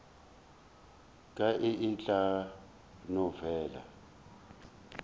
ka e tla no fela